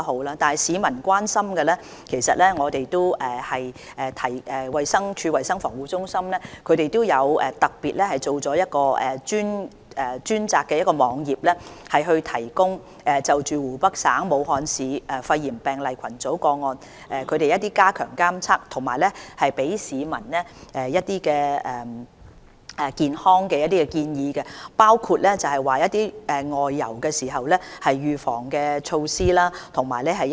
至於市民所關心的問題，衞生署的衞生防護中心亦特別製作了一個專題網頁，以加強監察湖北省武漢市肺炎病例群組個案的情況，並為市民提供一些"健康建議"，也包括一些"外遊預防措施"。